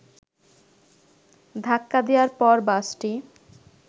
ধাক্কা দেয়ার পর বাসটি